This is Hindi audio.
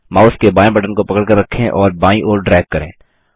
माउस के बायें बटन को पकड़कर रखें और बायीं ओर ड्रैग करें